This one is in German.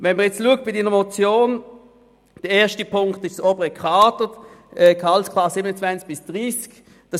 Wenn man den ersten Punkt der Motion betrachtet, betrifft er das obere Kader in den Gehaltsklassen 27 bis 30.